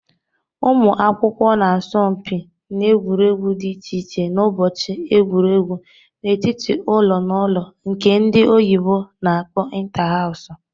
Ụmụ akwụkwọ n'asọmpi n'egwuregwu dị iche iche n'ụbọchị egwuregwu n'etiti ụlọ n' ụlọ nke ndị oyibo na-akpo inta-hawsu